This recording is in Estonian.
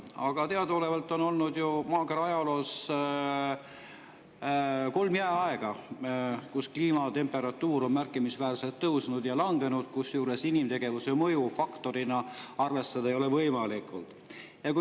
Aga teadaolevalt on ju maakera ajaloos olnud kolm jääaega, kus temperatuur on märkimisväärselt tõusnud ja langenud, kusjuures inimtegevuse mõju faktorina arvestada ei ole võimalik.